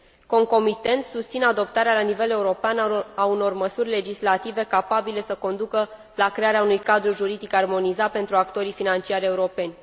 Concomitent, susțin adoptarea la nivel european a unor măsuri legislative capabile să conducă la crearea unui cadru juridic armonizat pentru actorii financiari europeni.